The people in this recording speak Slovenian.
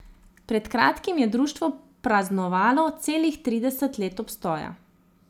Pred kratkim je Društvo praznovalo celih trideset let obstoja.